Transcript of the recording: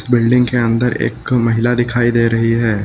Building के अंदर एक महिला दिखाई दे रही है।